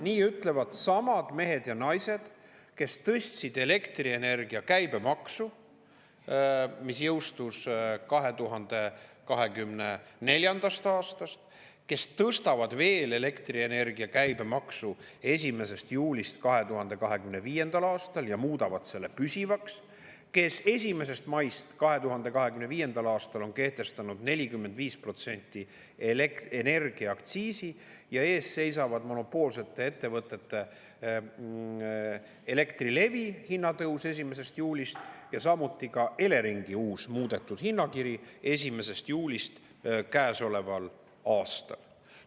Nii ütlevad samad mehed ja naised, kes tõstsid elektrienergia käibemaksu, mis jõustus 2024. aastast, kes tõstavad veel elektrienergia käibemaksu 1. juulist 2025. aastal ja muudavad selle püsivaks, kes 1. maist 2025. aastal on kehtestanud 45% elektrienergiaaktsiisi ja ees seisab monopoolsete ettevõtete, n nagu Elektrilevi hinnatõus 1. juulist ja samuti Eleringi uus muudetud hinnakiri 1. juulist käesoleval aastal.